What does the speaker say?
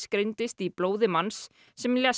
greindist í blóði manns sem lést